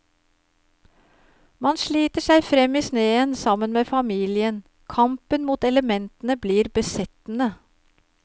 Man sliter seg frem i sneen sammen med familien, kampen mot elementene blir besettende.